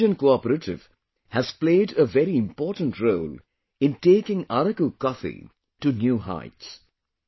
Girijan cooperative has played a very important role in taking Araku coffee to new heights